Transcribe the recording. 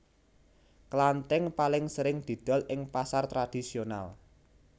Klantink paling sering didol ing pasar tradisional